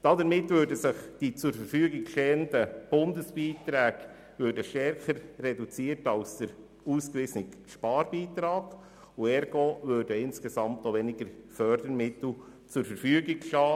Damit würden die zur Verfügung stehenden Bundesbeiträge stärker reduziert als der ausgewiesene Sparbeitrag, was bedeutet, dass insgesamt auch weniger Fördermittel zur Verfügung stünden.